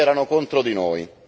e tutti erano contro di noi.